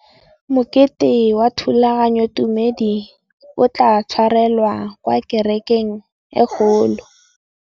Mokete wa thulaganyôtumêdi o tla tshwarelwa kwa kerekeng e kgolo.